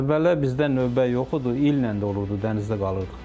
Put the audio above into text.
Əvvəllər bizdə növbə yox idi, illə də olurdu dənizdə qalırdıq.